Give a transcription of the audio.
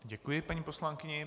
Děkuji paní poslankyni.